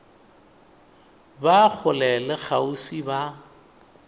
ba kgole le kgauswi ba